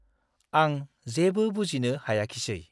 आं जेबो बुजिनो हायाखिसै ।